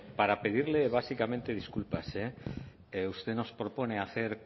para pedirle básicamente disculpas eh usted nos propone hacer